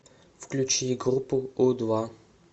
включи группу у два